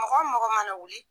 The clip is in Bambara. Mɔgɔ o mɔgɔ mana wuli.